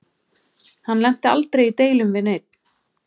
Hann lenti aldrei í deilum við neinn.